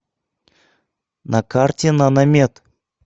на карте наномед